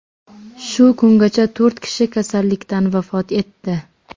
Shu kungacha to‘rt kishi kasallikdan vafot etdi.